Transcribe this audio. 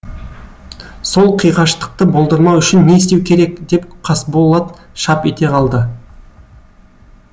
сол қиғаштықты болдырмау үшін не істеу керек деп қасболат шап ете қалды